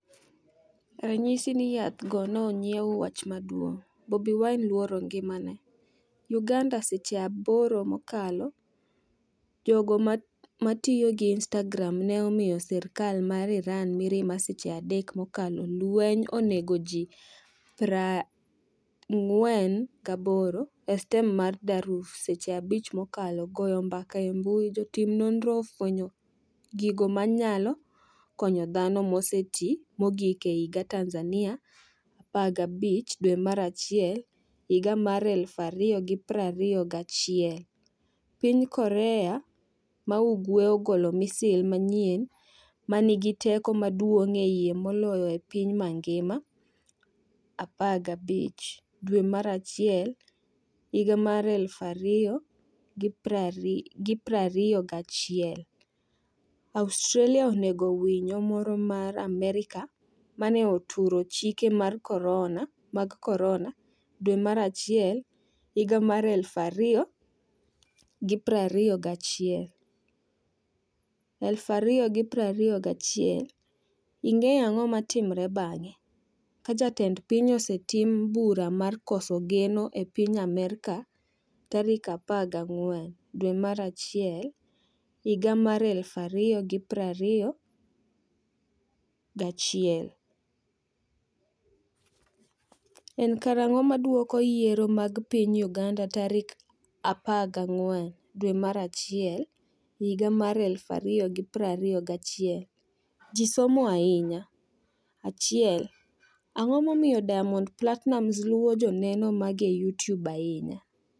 Ranyisi ni yath go ne onyiew Wach maduong’ Bobi Wine ‘luoro ngimane’ Uganda Seche 8 mokalo Jogo matiyo gi Instagram ne omiyo sirkal mar Iran mirima Seche 3 mokalo Lweny onego ji 48 e stem mar Darfur Seche 5 mokalo Goyo mbaka e mbui Jotim nonro ofwenyo gigo ma nyalo konyo dhano moseti mogik e higa Tanzania15 dwe mar achiel higa mar 2021 piny Korea ma Ugwe ogolo misil manyien 'ma nigi teko maduong'ie moloyo e piny mangima' 15 dwe mar achiel higa mar 2021 Australia onego winyo moro ma Amerka mane 'oturo chike mag Corona' dwe mar achiel higa mar 2021 , 2021 Ing'eyo ang'o matimre bang' ka jatend piny osetim bura mar koso geno e piny Amerka tarik 14 dwe mar achiel higa mar 2021 En karang'o ma duoko mag yiero mag piny Uganda tarik 14 dwe mar achiel higa mar 2021 ji somo ahinya 1 Ang'o momiyo Diamond Platinumz luwo joneno mage e YouTube ahinya?